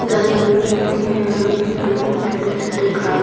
जमीन मिट्टी की है मिट्टी पे कुछ छोटे-छोटे घास --